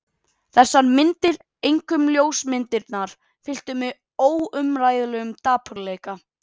Þessar myndir, einkum ljósmyndirnar, fylltu mig óumræðilegum dapurleika.